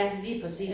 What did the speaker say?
Ja lige præcis